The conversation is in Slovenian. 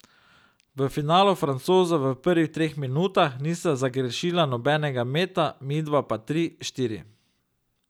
V finalu Francoza v prvih treh minutah nista zgrešila nobenega meta, midva pa tri, štiri.